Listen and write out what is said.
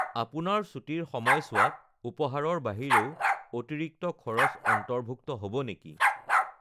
আপোনাৰ ছুটীৰ সময়ছোৱাত উপহাৰৰ বাহিৰেও অতিৰিক্ত খৰচ অন্তৰ্ভুক্ত হ'ব নেকি?